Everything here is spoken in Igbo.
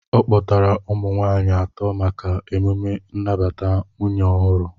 Ọ kpọtara ụmụ nwaanyị atọ maka emume nnabata nwunye ọhụrụ